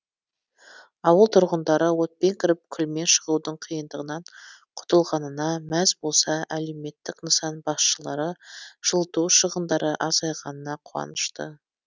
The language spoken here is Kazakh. ауыл тұрғындары отпен кіріп күлмен шығудың қиындығынан құтылғанына мәз болса әлеуметтік нысан басшылары жылыту шығындары азайғанына қуанышты